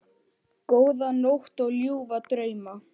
Góða nótt og ljúfa drauma.